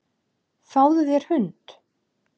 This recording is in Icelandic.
Fáðu þér hund.